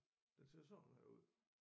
Den ser sådan her ud